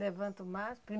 Levanta o mastro?